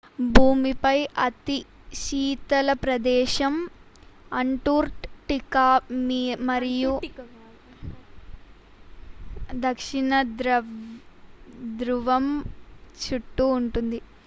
భూమిపై అతి శీతల ప్రదేశం అంటార్క్టికా మరియు దక్షిణ ధృవం చుట్టూ ఉంటుంది